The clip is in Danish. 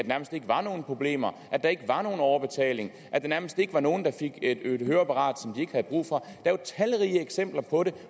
nærmest ikke var nogen problemer at der ikke var nogen overbetaling at der nærmest ikke var nogen der fik et høreapparat som de ikke havde brug for er jo talrige eksempler på det